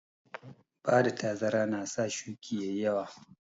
Bada tazara na sa shuƙi ƴaƴi yawa